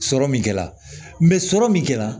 Sɔrɔ min kɛra sɔrɔ min kɛra